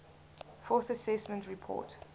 fourth assessment report